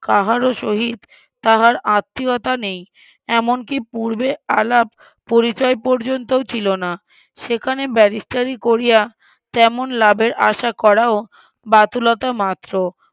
কাহারও সহিত তাহার আত্মীয়তা নেই এমনকি পূর্বে আলাপ পরিচয় পর্যন্তও ছিলনা সেখানে ব্যারিস্টারি করিয়া তেমন লাভের আশা করাও বাতুলতা মাত্র